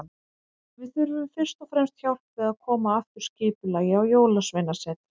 Við þurfum fyrst og fremst hjálp við að koma aftur skipulagi á Jólasveinasetrið.